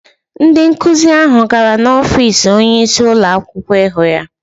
Ndị nkụzi ahụ gara n’ọfiisi onyeisi ụlọakwụkwọ ịhụ ya.